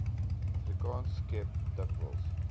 afrikaans skep dikwels